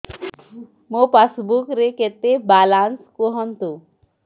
ମୋ ପାସବୁକ୍ ରେ କେତେ ବାଲାନ୍ସ କୁହନ୍ତୁ